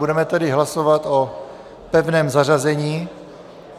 Budeme tedy hlasovat o pevném zařazení.